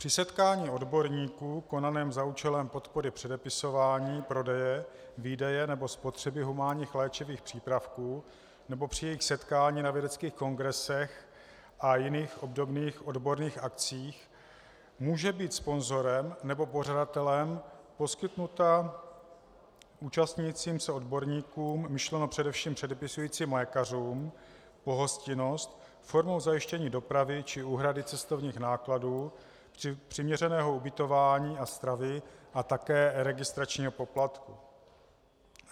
Při setkání odborníků konaném za účelem podpory předepisování, prodeje, výdeje nebo spotřeby humánních léčivých přípravků nebo při jejich setkání na vědeckých kongresech a jiných obdobných odborných akcích může být sponzorem nebo pořadatelem poskytnuta účastnícím se odborníkům, myšleno především předepisujícím lékařům, pohostinnost formou zajištění dopravy či úhrady cestovních nákladů, přiměřeného ubytování a stravy a také registračního poplatku.